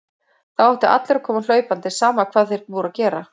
Þá áttu allir að koma hlaupandi, sama hvað þeir voru að gera.